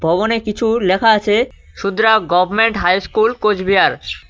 ভবনে কিছু লেখা আছে সুদ্রা গভমেন্ট হাই স্কুল কোচবিহার।